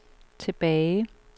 tilbage